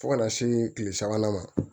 Fo ka na se kile sabanan ma